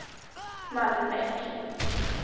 Malmbäck